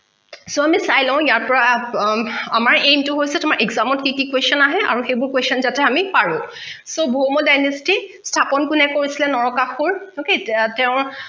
so আমি চাই লওঁ ইয়াৰ পৰা অ অমাৰ aim তো হৈছে exam ত কি কি question আহে আৰু সেইবোৰ question যাতে আমি পাৰো so ভৌম dynasty স্থাপন কোনে কৰিছিলে নৰকাসূৰ okay তেওঁ